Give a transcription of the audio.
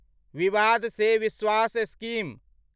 विवाद से विश्वास स्कीम